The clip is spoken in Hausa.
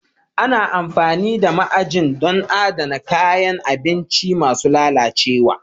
Ana amfani da ma'ajin don adana kayan abinci masu lalacewa